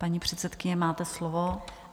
Paní předsedkyně, máte slovo.